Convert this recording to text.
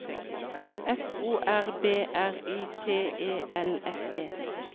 F O R B R Y T E L S E